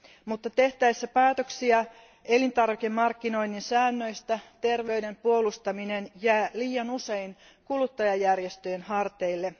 Mutta tehtäessä päätöksiä elintarvikemarkkinoinnin säännöistä terveyden puolustaminen jää liian usein kuluttajajärjestöjen harteille.